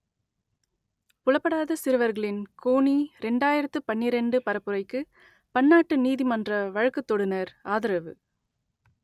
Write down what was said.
புலப்படாத சிறுவர்களின் கோனி ரெண்டாயிரத்து பன்னிரண்டு பரப்புரைக்கு பன்னாட்டு நீதிமன்ற வழக்குத்தொடுநர் ஆதரவு